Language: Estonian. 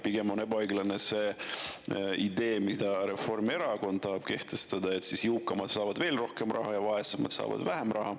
Pigem on ebaõiglane see, mida Reformierakond tahab kehtestada, et jõukamad saavad veel rohkem raha ja vaesemad saavad vähem raha.